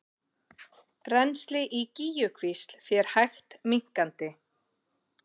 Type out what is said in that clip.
Rennsli í Gígjukvísl fer hægt minnkandi